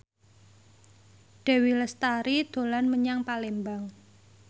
Dewi Lestari dolan menyang Palembang